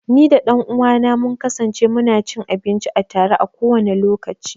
Ni da ɗan uwa na mun kasance mu na cin abinci a tare, a kowane lokaci.